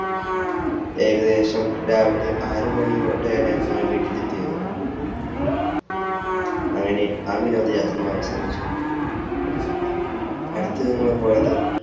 ഏകദേശം രാവിലെ ആറുമണിയോടെയാണ് ഞങ്ങൾ വീട്ടിലെത്തിയത് അങ്ങനെ ആ വിനോദയാത്രയും അവസാനിച്ചിരുന്നു അടുത്തത് ഞങ്ങൾ പോയത്